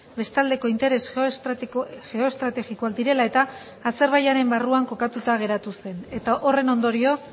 bestaldeko interes geoestrategikoak direla eta azerbaijanen barruan kokatuta geratu zen eta horren ondorioz